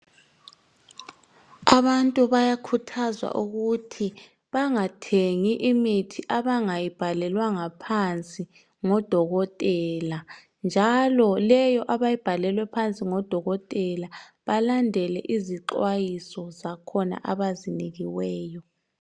Abantu bayakhuthazwa ukuthi bangathengi imithi abangayibhalelwanga phansi ngodokotela njalo lewo abayibhalelwe ngodokotela, balandele izixwayiso zakhona abazinikiweyo.